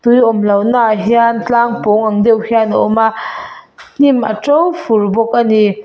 tui awm lohna ah hian tlang pawng ang deuh hian a awm a hnim a to fur bawk a ni.